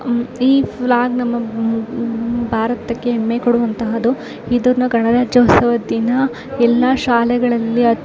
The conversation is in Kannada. ಈ ಫ್ಲಾಗ್ ನಮ್ಮ ಭಾರತಕ್ಕೆ ಹೆಮ್ಮೆ ಕೊಡುವಂತದ್ದು ಇದನ್ನ ಗಣರಾಜ್ಯೋತ್ಸವದ ದಿನ ಎಲ್ಲಾ ಶಾಲೆಗಳಲ್ಲಿ --